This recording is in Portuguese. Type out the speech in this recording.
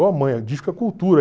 Oh, mãe, o disco é cultura.